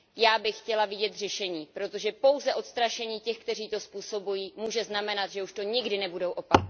Já bych chtěla vidět řešení, protože pouze odstrašení těch, kteří to způsobují, může znamenat, že už to nikdy nebudou opakovat.